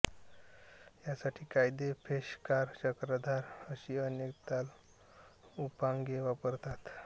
यासाठी कायदे पेशकार चक्रधार अशी अनेक तालउपांगे वापरतात